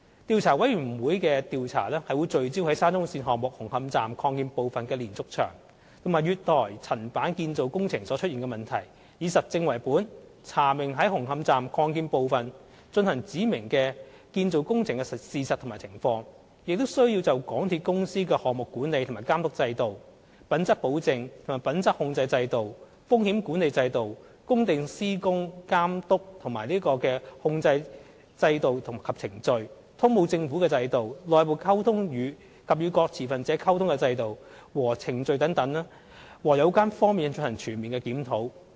調查委員會的調查會聚焦在沙中線項目紅磡站擴建部分的連續牆及月台層板建造工程所出現的問題，以實證為本，查明在紅磡站擴建部分進行指明的建造工程的事實和情況，亦須就港鐵公司的項目管理和監督制度、品質保證和品質控制制度、風險管理制度、工地施工監督和控制制度及程序、通報政府的制度、內部溝通及與各持份者溝通的制度和程序等各有關方面進行全面檢討。